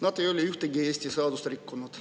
Nad ei ole ühtegi Eesti seadust rikkunud.